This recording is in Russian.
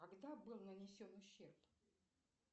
когда был нанесен ущерб